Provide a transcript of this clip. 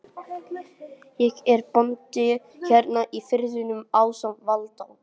Ég er bóndi hérna í firðinum ásamt Valda